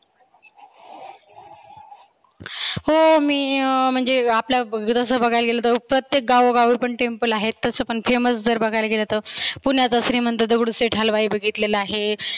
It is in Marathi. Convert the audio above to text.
हो मी अं म्हणजे आपल्या विरासत बघायला गेलं तर प्रत्येक गावोगावी temple आहेतच. famous जर बघायला गेलं तर. पुण्यात श्रिमंत दगडूशेठ हलवाई बघितलेला आहे.